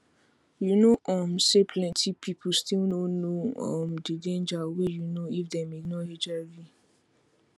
you know um say plenty people still no know um the danger wey you know if dem ignore hiv